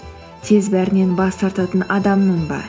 тез бәрінен бас тартатын адаммын ба